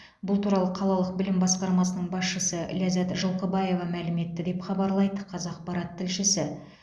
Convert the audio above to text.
бұл туралы қалалық білім басқармасының басшысы ләззат жылқыбаева мәлім етті деп хабарлайды қазақпарат тілшісі